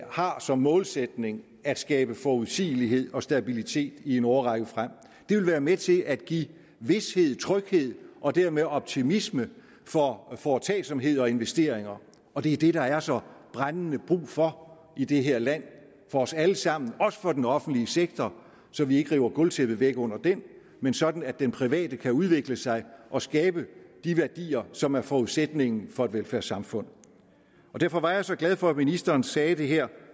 har som målsætning at skabe forudsigelighed og stabilitet i en årrække frem det vil være med til at give vished tryghed og dermed optimisme for foretagsomhed og investeringer og det er det der er så brændende brug for i det her land for os alle sammen også for den offentlige sektor så vi ikke river gulvtæppet væk under den men sådan at den private kan udvikle sig og skabe de værdier som er forudsætningen for et velfærdssamfund og derfor var jeg så glad for at ministeren sagde det her